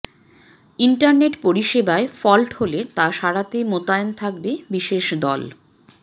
internet পরিষেবায় fault হলে তা সারাতে মোতায়েন থাকবে বিশেষ দল